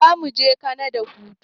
Zamuje kanada hutu